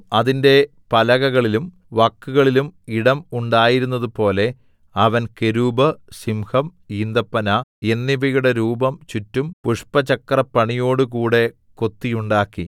അതിന്റെ പലകകളിലും വക്കുകളിലും ഇടം ഉണ്ടായിരുന്നതുപോലെ അവൻ കെരൂബ് സിംഹം ഈന്തപ്പന എന്നിവയുടെ രൂപം ചുറ്റും പുഷ്പചക്രപ്പണിയോടുകൂടെ കൊത്തിയുണ്ടാക്കി